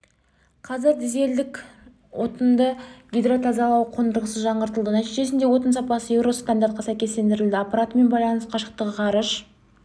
қазір дизельдік отынды гидротазалау қондырғысы жаңғыртылды нәтижесінде отын сапасы еуро стандартына сәйкестендірілді аппаратымен байланыс қашықтағы ғарыш